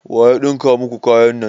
Waya ɗinka muku kayan nan?